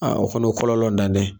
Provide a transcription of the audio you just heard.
Aa o fana, o kɔlɔlɔntan tɛ.